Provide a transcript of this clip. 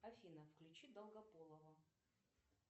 афина включи долгополова